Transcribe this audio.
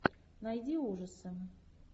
найди ужасы